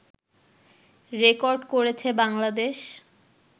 record করেছে বাংলাদেশ